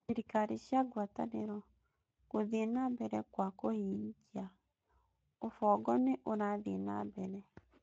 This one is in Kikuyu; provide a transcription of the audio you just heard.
Thirikari cia ngwatanĩro: Gũthiĩ na mbere kwa kũhingia: Ubongo nĩ ũrathiĩ na mbere